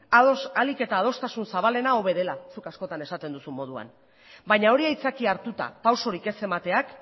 ahalik eta adostasun zabalena hobe dela zuk askotan esaten duzun moduan baina hori aitzakia hartuta pausurik ez emateak